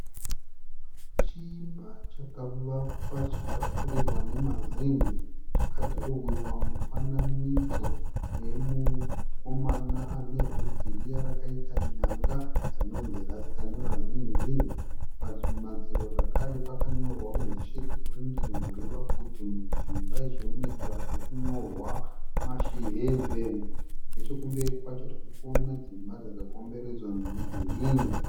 Chimba chakavakwa chikapfurirwa nemazen'e. Chakadhirowewa mufanidzo wemukomana anebvudzi riya rakaita nyanga rinonzi rasita nevazhinji. Pamadziro zvakare pakanyorwa kuti sheti purindin'i kureva kuti muchimba ichi munoita zvekunyrorwa mashi hembe. Nechokumberi kwacho tirikuona dzimba dzakakomberedzwa nemudhuri.